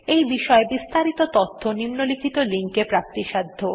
এই বিষয় বিস্তারিত তথ্য নিম্নলিখিত লিঙ্ক এ প্রাপ্তিসাধ্য